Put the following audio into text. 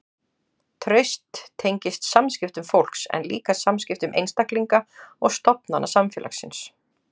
Traust tengist samskiptum fólks en líka samskiptum einstaklinga og stofnana samfélagsins.